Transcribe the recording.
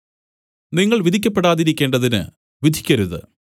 നിങ്ങൾ വിധിക്കപ്പെടാതിരിക്കേണ്ടതിന് വിധിക്കരുത്